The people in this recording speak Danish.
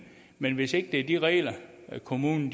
men hvis det ikke er de regler kommunen